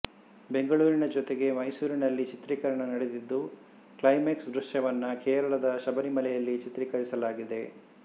ಬೆಂಗಳೂರಿನ ಜೊತೆಗೆ ಮೈಸೂರಿನಲ್ಲಿ ಚಿತ್ರೀಕರಣ ನಡೆದಿದ್ದು ಕ್ಲೈಮ್ಯಾಕ್ಸ್ ದೃಶ್ಯವನ್ನು ಕೇರಳದ ಶಬರಿಮಲೆಯಲ್ಲಿ ಚಿತ್ರೀಕರಿಸಲಾಗಿದೆ